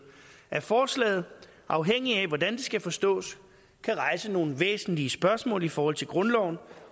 at forslaget afhængigt af hvordan det skal forstås kan rejse nogle væsentlige spørgsmål i forhold til grundloven